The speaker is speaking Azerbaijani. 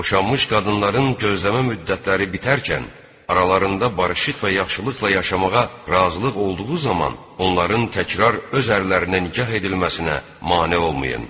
Boşanmış qadınların gözləmə müddətləri bitərkən aralarında barışıq və yaxşılıqla yaşamağa razılıq olduğu zaman onların təkrar öz ərlərinə nikah edilməsinə mane olmayın.